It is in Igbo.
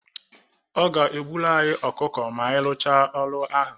Ọ ga-egburu anyị ọkụkọ ma anyị rụchaa ọrụ ahụ.